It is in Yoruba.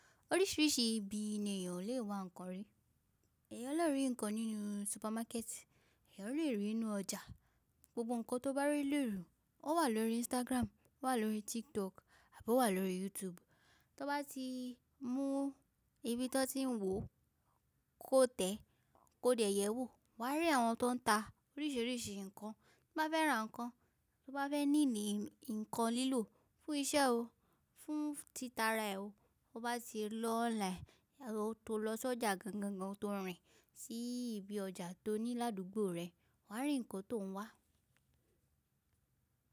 Oríṣìíríṣìí ibi ni èèyàn le wa ǹkan rí. Èèyàn lerì ǹkan nínú supermarket, èèyàn lèrí ínu ọjà. Gbogbo ǹkan tó bá rí le ru, ó wà lórí Instagram, ó wà lórí TikTok àbí ó wà lórí YouTube. Tó bá ti mún ibi tí ẹ ti ń wò kó tẹ̀, kó dẹ̀yẹ̀ wò, wà á rí àwọn tó ń ta oríṣìíríṣìí ǹkan. Tí i bá fẹ́ ra ǹkan, tí o bá fẹ́ ní ní ǹkan lílò fún isẹ́ o, fún títa ara ẹ o, o bá ti lọ online tó lọ sí ọjà gangangan tó rìn sí ibi ọjà tó ní ládùúgbò rẹ, wà á rí ǹkan tó ń wà.